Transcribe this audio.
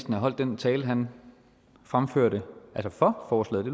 have holdt den tale han fremførte for forslaget